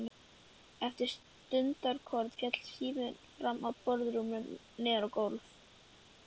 Eftir stundarkorn féll síminn fram af borðbrúninni niður á gólf.